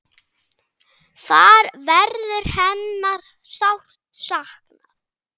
Þar verður hennar sárt saknað.